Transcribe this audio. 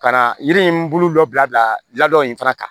Ka na yiri in bolo dɔ bila la dɔ in fana kan